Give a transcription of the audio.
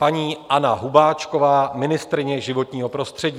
Paní Anna Hubáčková, ministryně životního prostředí.